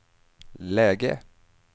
läge